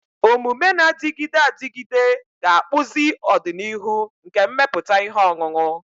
Omume na-adịgide adịgide ga-akpụzi ọdịnihu nke mmepụta ihe ọṅụṅụ.